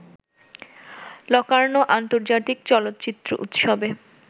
Locarno আন্তর্জাতিক চলচ্চিত্র উৎসবে